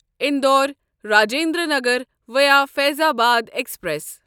Indore Rajendra Nagar via Faizabad express